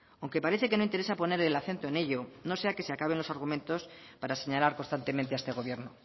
aunque parece que no interesa poner el acento en ello no sea que se acaben los argumentos para señalar constantemente a este gobierno